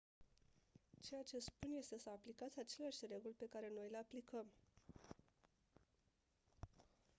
ceea ce spun este să aplicați aceleași reguli pe care noi le aplicăm